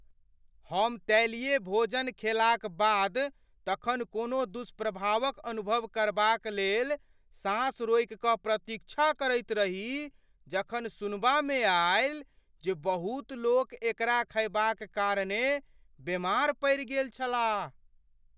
हम तैलीय भोजन खेलाक बाद तखन कोनो दुष्प्रभावक अनुभव करबाक लेल साँस रोकि कऽ प्रतीक्षा करैत रही जखन सुनबामे आयल जे बहुत लोक एकरा खयबाक कारणेँ बेमार पड़ि गेल छलाह।